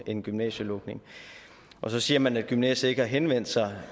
en gymnasielukning så siger man at gymnasiet ikke har henvendt sig